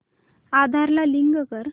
आधार ला लिंक कर